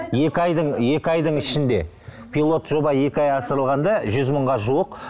екі айдың екі айдың ішінде пилот жоба екі ай асырылғанда жүз мыңға жуық